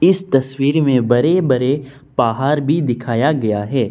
इस तस्वीर में बड़े बड़े पहाड़ भी दिखाया गया है।